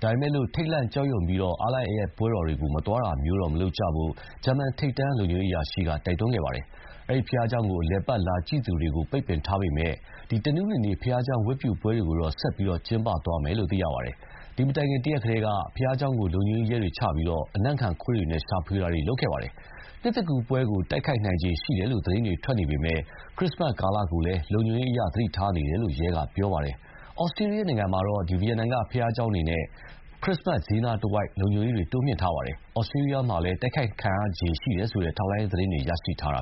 ။ ဒါပေမယ့်လည်း ထိတ်လန့်ကြောက်ရွံပြီး အားလပ်ရက်ပွဲတော်တွေကို မသွားတာမျိုးတွေ မလုပ်ကြဖို့တော့ ဂျာမန်ထိပ်တန်းလုံခြုံရေးအရာရှိက တိုက်တွန်းခဲ့ပါတယ်။ အဲဒီဘုရားကျောင်းကို အလည်အပတ်လာကြည့်သူတွေကို ပိတ်ပင်ထားပေမယ့်လို့လည်း တနင်္ဂနွေနေ့ ဘုရားကျောင်းဝတ်ပြုပွဲတွေကိုတော့ ဆက်လက်ပြီး ကျင်းပသွားမယ်လို့သိရပါတယ်။ ဒီမတိုင်ခင် တရက်ကတည်းက ဘုရားကျောင်းကို လုံခြုံရေးရဲတွေချထားပြီး အနံ့ခံခွေးတွေနဲ့ ရှာဖွေထားခဲ့ပါတယ်။ နှစ်သစ်ကူးပွဲကို တိုက်ခိုက်နိုင်ခြေရှိတယ်လို့ သတင်းတွေထွက်နေပေမယ့် ခရစ္စမတ်ကာလကိုလည်း လုံခြုံရေးအရ သတိထားနေတယ်လို့ ရဲက ပြောပါတယ်။ ဩစတြီးယားနိုင်ငံမှာတော့ ဗီယင်နာက ဘုရားကျောင်းတွေနဲ့ ခရစ္စမတ်ဈေးနားတဝိုက် လုံခြုံရေးတွေ တိုးမြှင့်ထားပါတယ်။ ဩစတြီးယားမှာလည်း တိုက်ခိုက်ခံရနိုင်ခြေရှိတယ်ဆိုတဲ့ ထောက်လှမ်းရေးသတင်းတွေ ရရှိထားတာ